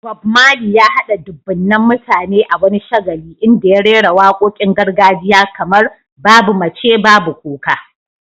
Bob Marley, ya haɗa dubunnan mutane a wani shagali inda ya rera waƙoƙin gargajiya kamar "Babu Mace, Babu Kuka".